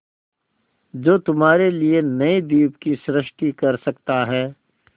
जो तुम्हारे लिए नए द्वीप की सृष्टि कर सकता है